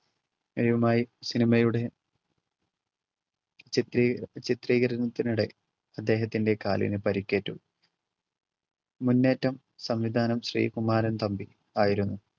സിനിമയുടെ ചിത്രീ~ ചിത്രീകരണത്തിനിടെ അദ്ദേഹത്തിൻറെ കാലിന് പരിക്കേറ്റു. മുന്നേറ്റം സംവിധാനം ശ്രീകുമാരൻ തമ്പി ആയിരുന്നു.